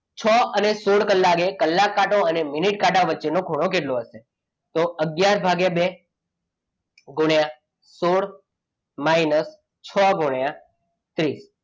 છ અને સોળ કલાકે કલાક કાંટો અને મિનિટ કાંટા વચ્ચે નો ખૂણો કેટલો હશે? તો અગિયાર ભાગ્યા બે ગુણ્યા સોળ minus છ ગુણ્યા ત્રીસ.